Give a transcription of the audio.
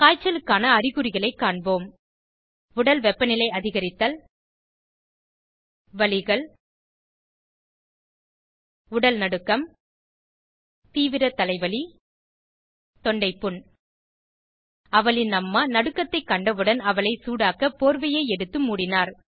காய்ச்சலுக்கான அறிகுறிகளை காண்போம் உடல் வெப்பநிலை அதிகரித்தல் வலிகள் உடல் நடுக்கம் தீவிர தலைவலி தொண்டை புண் அவளின் அம்மா நடுக்கத்தை கண்டவுடன் அவளை சூடாக்க போர்வையை எடுத்து மூடினார்